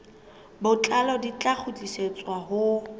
botlalo di tla kgutlisetswa ho